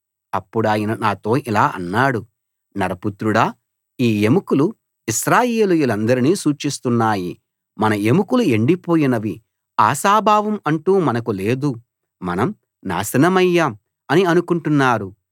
అప్పుడాయన నాతో ఇలా అన్నాడు నరపుత్రుడా ఈ ఎముకలు ఇశ్రాయేలీయులందరినీ సూచిస్తున్నాయి మన ఎముకలు ఎండిపోయినవి ఆశాభావం అంటూ మనకు లేదు మనం నాశనమయ్యాం అని అనుకుంటున్నారు